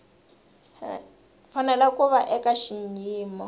fanele ku va eka xiyimo